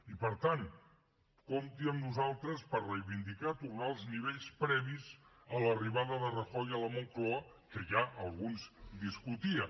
i per tant compti amb nosaltres per reivindicar tornar als nivells previs a l’arribada de rajoy a la moncloa que ja alguns discutien